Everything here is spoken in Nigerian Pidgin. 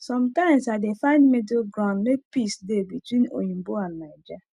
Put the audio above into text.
sometimes i dey find middle ground make peace dey between oyinbo and naija